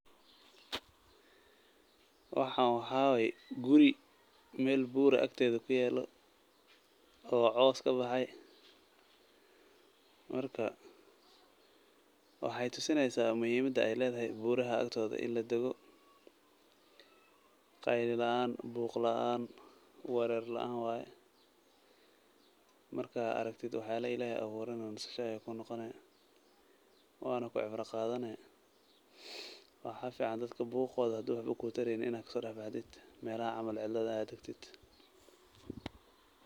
Waxaan waxaa waay guri meel buur ah agteeda ku yaalo oo coos kabahay. Marka waxaay tusinaysaa muhiimada ay leedahay buuraha agtooda in ladego, qayla lacaan, buuq lacaan, wereer lacaan waay. Marka araktada wax yaalo ilaahey abuuray nasisho ayaa kuu noqoni waana ku cibro qaadani. Waxaa ficaan dadka buuqooda haduu waxba kuu tareynin inaay kasoodhaxbaxdid meelahan camal cidlada ah tagtid.